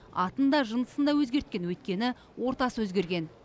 атын да жынысын да өзгерткен өйткені ортасы өзгерген